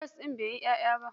Karas ɗina bai yi ƴaƴa ba.